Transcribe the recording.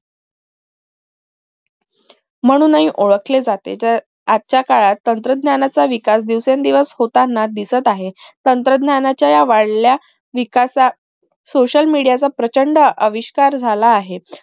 म्हणून हि ओळखले जाते तर आजच्या काळात तंत्रज्ञानाचा विकास दिवसेंदिवस होताना दिसत आहे तंत्रज्ञानाच्या ह्या वाढत्या विकासा social media प्रचंड अविष्कार झाला आहे